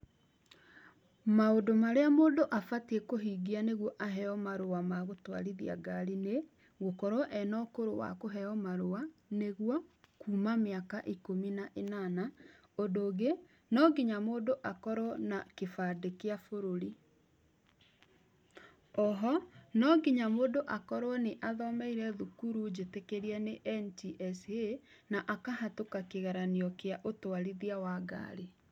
Maũndũ marĩa mũndũ abatiĩ kũhingia nĩguo aheo marũa magũtũarithia ngari nĩ, gũkorwo ena ũkũrũ wa kũheo marũa nĩgũo kuma mĩaka ikũmi na ĩnana , ũndũ ũngĩ nonginya mũndũ akorwo na kĩbandĩ kĩa bũrũri . Oho nonginya mũndũ akorwo nĩ athomeire thukuru njĩtĩkĩrie nĩ NTSA na akahatũka kĩgeranio kĩa ũtwarithia wa ngari.